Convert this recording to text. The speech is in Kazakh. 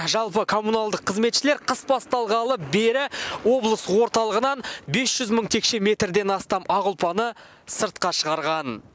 жалпы коммуналдық қызметшілер қыс басталғалы бері облыс орталығынан бес жүз мың текше метрден астам ақ ұлпаны сыртқа шығарған